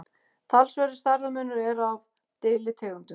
talsverður stærðarmunur er á deilitegundum